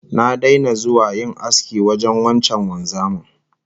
Na daina zuwa yin aski wajen wancan wanzamin